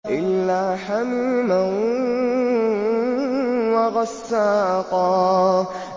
إِلَّا حَمِيمًا وَغَسَّاقًا